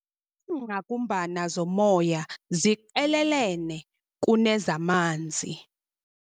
Iingqakumbana zomoya ziqelelene kunezamanzi.